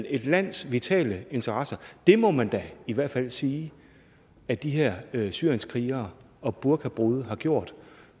et lands vitale interesser det må man da i hvert fald sige at de her syrienskrigerne og burkabrude har gjort